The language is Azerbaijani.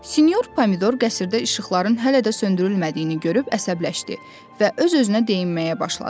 Sinyor Pomidor qəsrdə işıqların hələ də söndürülmədiyini görüb əsəbləşdi və öz-özünə deyinməyə başladı.